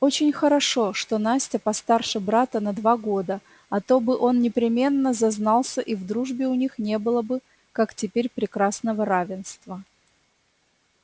очень хорошо что настя постарше брата на два года а то бы он непременно зазнался и в дружбе у них не было бы как теперь прекрасного равенства